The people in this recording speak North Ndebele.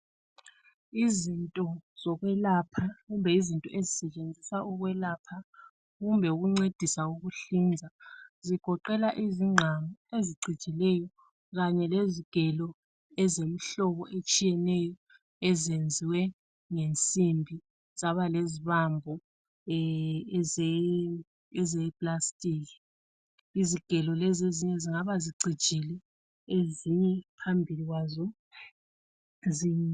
Izinto zokwelapha, kumbe izinto ezisetshenziswa ukwelapha kumbe ukuncedisa ukuhlinza, zigoqela izingqamu ezicijileyo, kanye lezigelo ezemihlobo etshiyeneyo, ezenziwe ngensimbi zaba lezibambo ezeplastic. Izigelo lezi ezinye zingabe zecijile, ezinye phambili kwazo zi